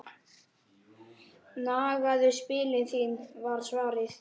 Nagaðu spilin þín var svarið.